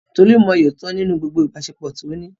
Tolu mọyì òtítọ́ nínú gbogbo ìbáṣepọ̀ tí ó ní.